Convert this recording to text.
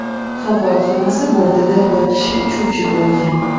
Havo kemasi bortida bir kishi uchuvchi bo‘lgan.